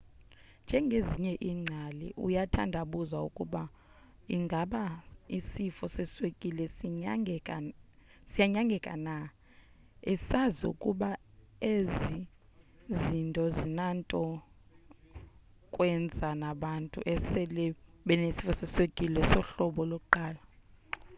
njengezinye iingcali uyathandabuza ukuba ingaba isifo seswekile siyanyangeka na esazi ukuba ezi zinto azinanto kwenza nabantu esele benesifo seswekile sohlobo 1